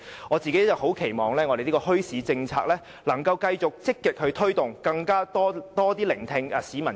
我個人期望墟市政策可以繼續積極推動，政府也要更多聆聽市民和民間的聲音。